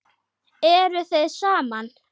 Eruð þið saman?